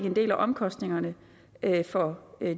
en del af omkostningerne for